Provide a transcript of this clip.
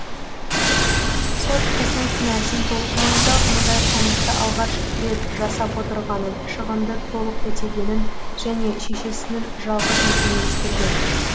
сот қыздың кінәсін толық мойындап мұндай қылмысты алғаш рет жасап отырғанын шығынды толық өтегенін және шешесінің жалғыз екенін ескерген